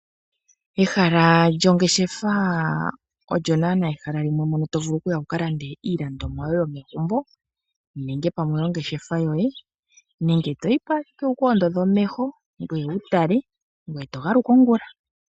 Ehala lyongeshefa olyo naanaa ehala limwe mono to vulu okuya mo wu ka lande iipumbiwa yoye yomegumbo nenge pamwe oyongeshefa yoye nenge to yi po ashike wu ka ondodhe omeho ngoye wu tale ngoye to galuka ongula.